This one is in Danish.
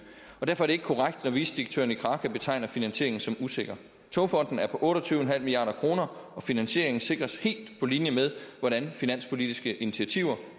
og derfor er det ikke korrekt når vicedirektøren i kraka betegner finansieringen som usikker togfonden dk er på otte og tyve milliard kr og finansieringen sikres helt på linje med hvordan finanspolitiske initiativer